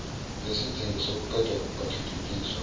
yesidingo sokuqeda ukungathuthukiswa